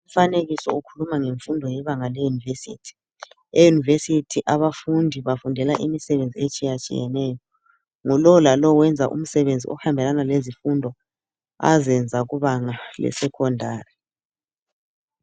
Umfanekiso ukhuluma ngemfundo yebanga leuniversity. Eyunivesithi abafundi bafundela imisebenzi etshiyatshiyaneyo ngulo lalo wenza umsebenzi ohambelaba lezifundo azenza kubanga lesecondary.